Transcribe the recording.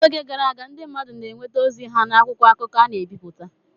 N’oge gara aga, ndị mmadụ na-enweta ozi ha n’akwụkwọ akụkọ a na-ebipụta.